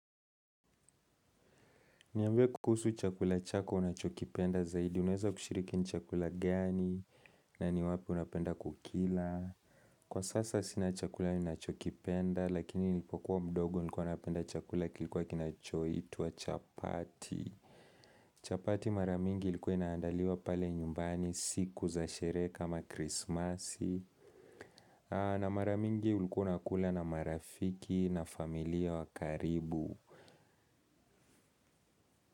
Niambie kukusu chakula chako unachokipenda zaidi, unaweza kushiriki ni chakula gani na ni wapi unapenda kukila. Kwa sasa sina chakula ninacho kipenda lakini nilipokuwa mdogo nilikua napenda chakula kilikua kinachoitwa chapati. Chapati mara mingi likuwa inaandaliwa pale nyumbani siku za sherehe kama krismasi. Na mara mingi ulikua unakula na marafiki na familia wa karibu.